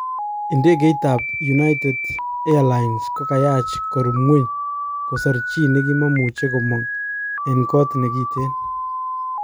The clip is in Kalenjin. Idegait tab United Airlines kokayach korub ngweny kosor chi nekimamuche komog en kot nekiten